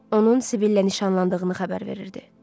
Onun Sibillə nişanlandığını xəbər verirdi.